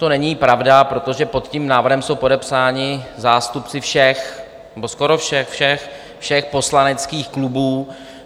To není pravda, protože pod tím návrhem jsou podepsáni zástupci všech nebo skoro všech poslaneckých klubů.